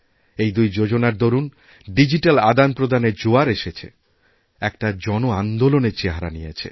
এইদুই যোজনার দরুণ ডিজিট্যাল আদানপ্রদানের জোয়ার এসেছে একটা জন আন্দোলনের চেহারানিয়েছে